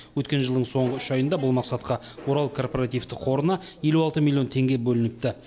өткен жылдың соңғы үш айында бұл мақсатқа орал корпоративтік қорына елу алты миллион теңге бөлініпті